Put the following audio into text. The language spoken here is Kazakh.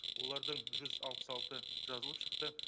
олардың жүз алпыс алты жазылып шықты